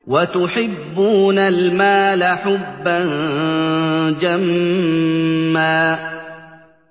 وَتُحِبُّونَ الْمَالَ حُبًّا جَمًّا